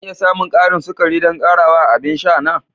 Zan iya samun ƙarin sukari don ƙarawa a abin sha na?